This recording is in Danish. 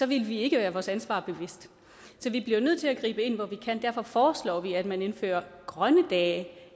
ville vi ikke være vores ansvar bevidst så vi bliver jo nødt til at gribe ind hvor vi kan og derfor foreslår vi at man indfører grønne dage